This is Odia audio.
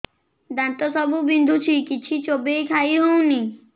ଦାନ୍ତ ସବୁ ବିନ୍ଧୁଛି କିଛି ଚୋବେଇ ଖାଇ ହଉନି